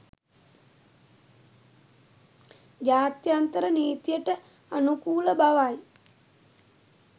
ජාත්‍යන්තර නීතියට අනුකූල බවයි